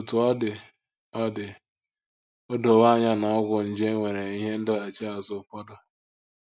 Otú ọ dị, o dị, o dowo anya na ọgwụ nje nwere ihe ndọghachi azụ ụfọdụ.